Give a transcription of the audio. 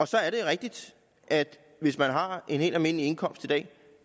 så er det rigtigt at hvis man har en helt almindelig indkomst